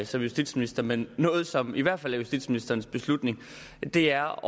som justitsminister men noget som i hvert fald er justitsministerens beslutning er